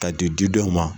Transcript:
Ka di di dɔw ma